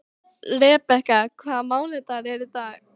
Rebekka, hvaða mánaðardagur er í dag?